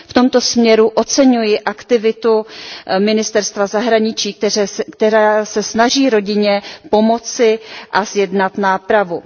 V tomto směru oceňuji aktivitu Ministerstva zahraničí ČR, které se snaží rodině pomoci a zjednat nápravu.